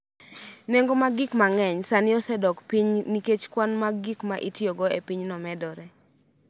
Nengo mag gik mang�eny sani osedok piny nikech kwan mar gik ma itiyogo e pinyno medore.